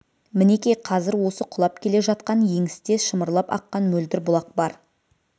мінекей қазір осы құлап келе жатқан еңісте шымырлап аққан мөлдір бұлақ бар